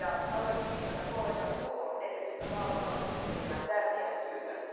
Haluaisin viitata kollega Coelhon edellisellä vaalikaudella tekemään tärkeään työhön.